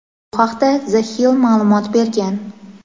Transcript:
Bu haqda "The Hill" ma’lumot bergan.